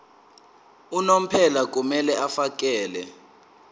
unomphela kumele afakele